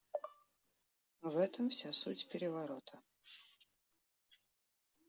в этом вся суть переворота